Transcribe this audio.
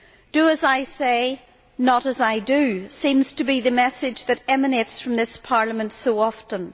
Do as I say, not as I do' seems to be the message that emanates from this Parliament so often.